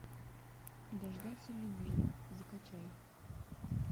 дождаться любви закачай